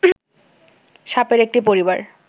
সাপের একটি পরিবার